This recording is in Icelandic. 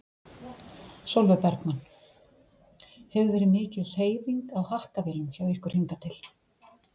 Sólveig Bergmann: Hefur verið mikil hreyfing á hakkavélum hjá ykkur hingað til?